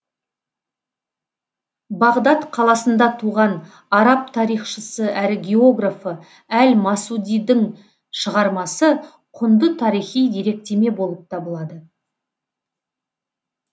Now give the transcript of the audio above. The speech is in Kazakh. бағдат қаласында туған араб тарихшысы әрі географы әл масудидің шығармасы құнды тарихи деректеме болып табылады